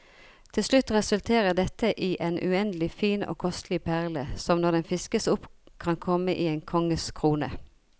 Til slutt resulterer dette i en uendelig fin og kostelig perle, som når den fiskes opp kan komme i en konges krone.